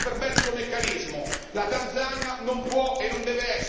È ora di sanzionare chi contribuisce a questo perverso meccanismo.